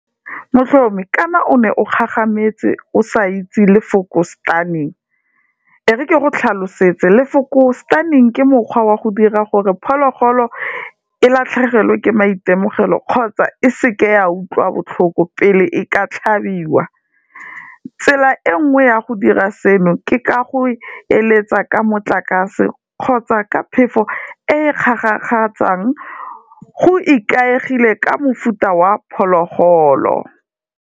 Motlhomi ka na o ne o gagametse o sa itse lefoko stunning, e re ke go tlhalosetse lefoko stunning ke mokgwa wa go dira gore phologolo e latlhegelwe ke maitemogelo kgotsa e seke ya utlwa botlhoko pele e ka tlhabiwa, tsela e nngwe ya go dira seno ke ka go eletsa ka motlakase kgotsa ka phefo e kgarakgatsang go ikaegile ka mofuta wa phologolo.